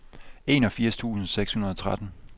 enogfirs tusind seks hundrede og tretten